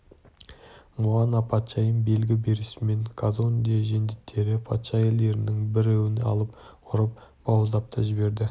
муана патшайым белгі берісімен казонде жендеттері патша әйелдерінің біреуін алып ұрып бауыздап та жіберді